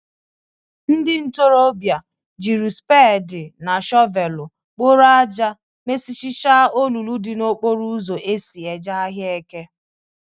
Ndị ntorọbịa jiri spedị na shọvelụ kporo aja mechịsịicha olulu dị n'okporo ụzọ eso e ji ahịa eke.